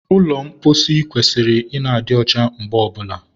ụlọ mposi kwesịrị ị na-adị ọcha mgbe ọbụla